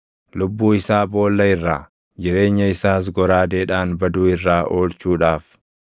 lubbuu isaa boolla irraa, jireenya isaas goraadeedhaan baduu irraa oolchuudhaaf.